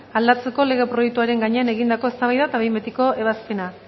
aldatzeko lege proiektuaren gainean egindakoa eztabaida eta behin betiko ebazpena